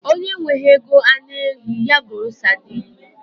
Onye enweghị ego anụ ehi, ya goro sadin